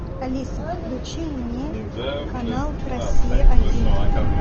алиса включи мне канал россия один